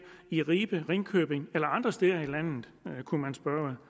i ribe ringkøbing eller andre steder i landet kunne man spørge